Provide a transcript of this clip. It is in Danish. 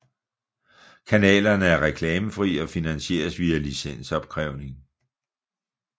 Kanalerne er reklamfri og finansieres via licensopkrævning